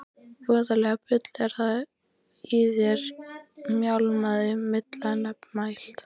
Voðalegt bull er í þér mjálmaði Milla nefmælt.